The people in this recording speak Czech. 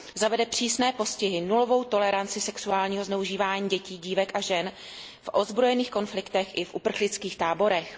Zavede přísné postihy, nulovou toleranci sexuálního zneužívání dětí, dívek a žen v ozbrojených konfliktech i v uprchlických táborech.